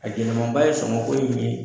A gɛlɛmanba ye sɔngɔ ko in ye